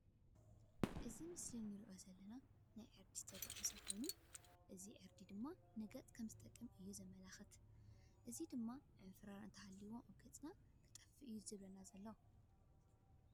እዚ ብምስሊ እንሪኦ ናይ ዕርዲ ዝተደቆሰ ኮይኑ እዚ ዕርዲ ድማ ንገፅ ከም ዝጠቅም እዩ ዘመላክተና። እዚ ድማ ዕንፉሩር እንተሃሊዎ ኣብ ገፅና ከጥፎኦ እዩ ዝብለና ዘሎ።